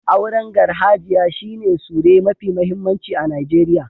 Auren garhajiya shi ne sure mafi mahimmanci a Nijeriya.